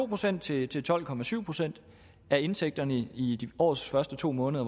procent til til tolv procent af indtægterne i årets første to måneder